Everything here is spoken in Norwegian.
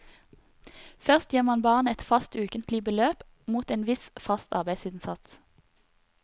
Først gir man barnet et fast ukentlig beløp mot en viss fast arbeidsinnsats.